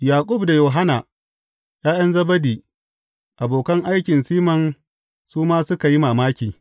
Yaƙub da Yohanna, ’ya’yan Zebedi, abokan aikin Siman su ma suka yi mamaki.